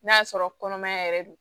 N'a sɔrɔ kɔnɔmaya yɛrɛ don